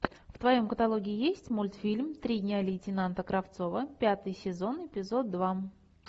в твоем каталоге есть мультфильм три дня лейтенанта кравцова пятый сезон эпизод два